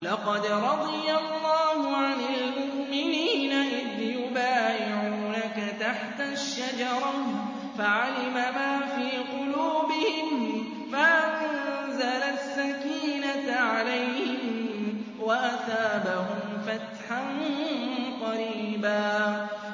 ۞ لَّقَدْ رَضِيَ اللَّهُ عَنِ الْمُؤْمِنِينَ إِذْ يُبَايِعُونَكَ تَحْتَ الشَّجَرَةِ فَعَلِمَ مَا فِي قُلُوبِهِمْ فَأَنزَلَ السَّكِينَةَ عَلَيْهِمْ وَأَثَابَهُمْ فَتْحًا قَرِيبًا